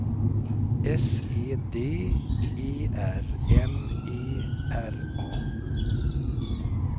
S E D E R M E R A